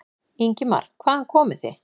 Ingimar: Hvaðan komið þið?